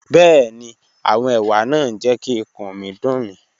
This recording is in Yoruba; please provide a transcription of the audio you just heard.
Bẹẹni, awọn ewa naa n jẹ ki ikun mi dun mi.